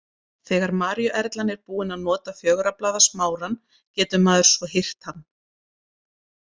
Þegar maríuerlan er búin að nota fjögurra blaða smárann getur maður svo hirt hann.